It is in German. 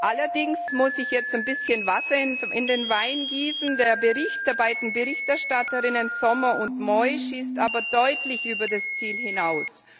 Allerdings muss ich jetzt ein bisschen Wasser in den Wein gießen Der Bericht der beiden Berichterstatterinnen Sommer und Moi schießt deutlich über das Ziel hinaus.